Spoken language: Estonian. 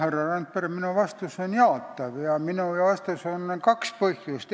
Härra Randpere, minu vastus on jaatav ja sellel on kaks põhjust.